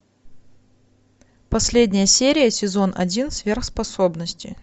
последняя серия сезон один сверхспособности